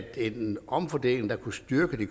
at en omfordeling der kunne styrke de